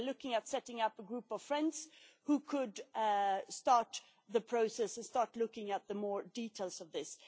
We are looking at setting up a group of friends who could start the process, and start looking into more details of this.